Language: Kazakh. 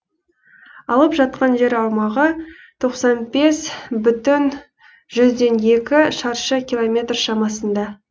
алып жатқан жер аумағы тоқсан бес бүтін жүзден екі шаршы километр шамасында